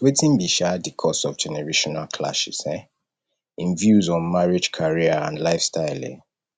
wetin be um di cause of generational clashes um in views on marriage career and lifestyle um